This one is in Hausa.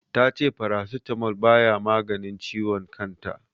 Ta ce Paracetamol baya maganin ciwon kan ta.